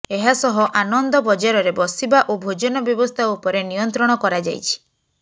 ଏହାସହ ଆନନ୍ଦ ବଜାରରେ ବସିବା ଓ ଭୋଜନ ବ୍ୟବସ୍ଥା ଉପରେ ନିୟନ୍ତ୍ରଣ କରାଯାଇଛି